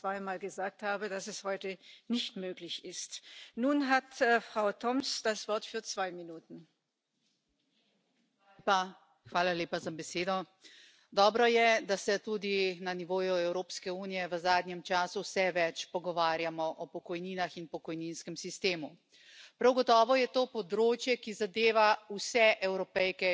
instituciones a trabajar en un nuevo reglamento que garantice pensiones y sistemas de pensiones públicos dignos y medidas para que pasar de la vida laboral activa a la jubilación no signifique entrar en la pobreza que los presupuestos públicos garanticen las pensiones públicas el fin de la brecha de género